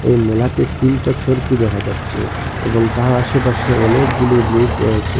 এই মেলাতে তিনটা চরকি দেখা যাচ্ছে এবং তার আশেপাশে অনেকগুলি লোক রয়েছে।